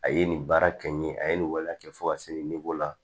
A ye nin baara kɛ n ye a ye nin waleya kɛ fo ka se la